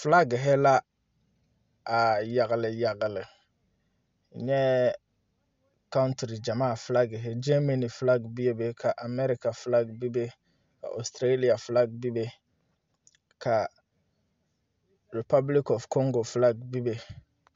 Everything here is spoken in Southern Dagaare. Filage la yagle yagle n nyɛɛ kautere gyamaa filagere gyɛɛmane filage bebe ka amɛɛreka filage bebe oositirelea filage bebe rupɔbilig ɔf kɔŋgo bebe.